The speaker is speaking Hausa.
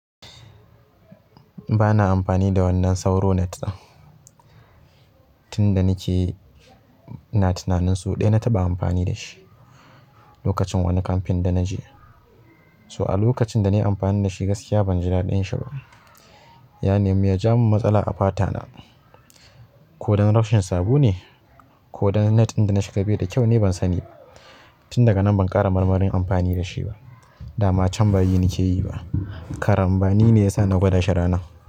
Ba na amfani da wannan sauro net ɗin. Tun da nake ina tunanin sau ɗaya na taɓa amfani da shi lokacin wani kamfen da na je. So a lokacin da na yi amfani da shi gaskiya ban ji daɗin shi ba. Ya nemi ya jawo min matsala a fata na. Ko don rashin sabo ne? Ko don net ɗin da na shiga bai da kyau ne? Ban sani ba. Tun daga nan ban ƙara marmarin amfani da shi ba. Dama can ba yi nake yi ba. Karambani ne ya sa na gwada shi ranan.